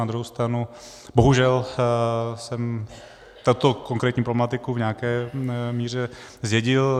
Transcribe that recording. Na druhou stranu bohužel jsem tuto konkrétní problematiku v nějaké míře zdědil.